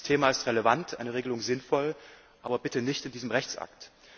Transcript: Das Thema ist relevant, eine Regelung sinnvoll, aber bitte nicht in diesem Rechtsakt.